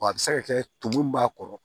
Wa a bɛ se ka kɛ tumu b'a kɔrɔ